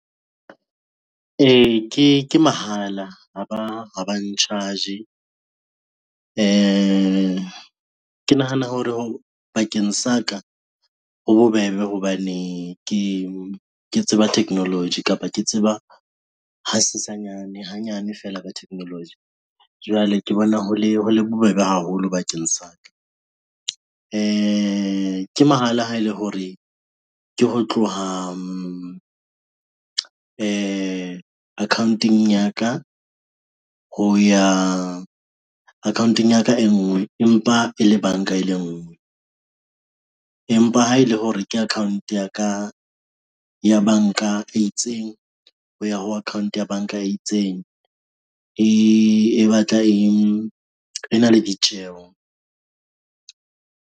E, ke mahala ha ba n-charge-e. Ke nahana hore bakeng sa ka ho bobebe hobane ke tseba technology kapa ke tseba ha sesanyane, hanyane fela ka technology, jwale ke bona ho le bobebe haholo bakeng sa ka. Ke mahala ha ele hore ke ho tloha account-ong ya ka, ho ya account-ong ya ka e ngwe empa e le banka e le nngwe, empa ha ele hore ke account ya ka ya banka e itseng ho ya ho account ya banka e itseng e batla e na le ditjeho.